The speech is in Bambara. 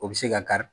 O bɛ se ka kari